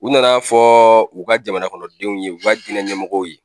U nana fɔ u ka jamana kɔnɔ denw ye u ka diinɛ ɲɛmɔgɔw ye.